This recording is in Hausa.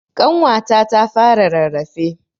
Ƙanwata ta fara rarrafe.